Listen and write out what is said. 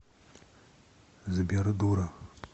сбер дура